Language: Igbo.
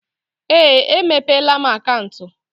Ee, emepeela m akaụntụ.